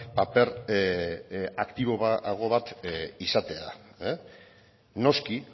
paper aktiboago bat izatea noski